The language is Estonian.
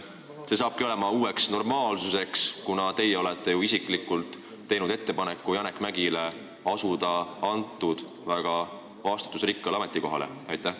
Kas see saabki uueks normaalsuseks, kuna teie olete ju isiklikult teinud Janek Mäggile ettepaneku asuda sellele väga vastutusrikkale ametikohale?